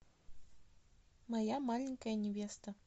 моя маленькая невеста